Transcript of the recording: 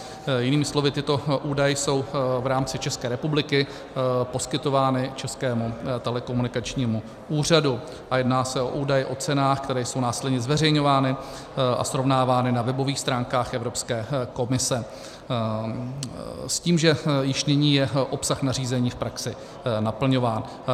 Jinými slovy, tyto údaje jsou v rámci České republiky poskytovány Českému telekomunikačnímu úřadu a jedná se o údaj o cenách, které jsou následně zveřejňovány a srovnávány na webových stránkách Evropské komise, s tím, že již nyní je obsah nařízení v praxi naplňován.